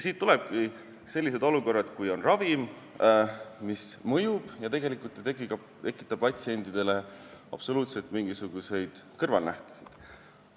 Siit tulevadki sellised olukorrad, et kui on ravim, mis mõjub, siis tegelikult ta ei tekita patisentidele absoluutselt mingisuguseid kõrvalnähtusid.